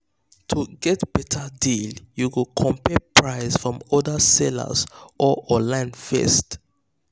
to get better deal you go compare price from other seller or online first.